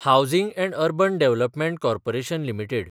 housing and urban development corporation limited